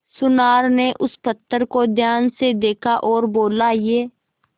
सुनार ने उस पत्थर को ध्यान से देखा और बोला ये